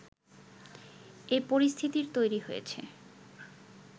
এ পরিস্থিতির তৈরি হয়েছে